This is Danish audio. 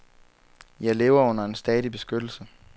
Jeg lever under en stadig beskyttelse.